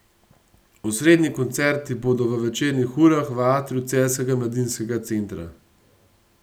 Osrednji koncerti bodo v večernih urah v atriju Celjskega mladinskega centra.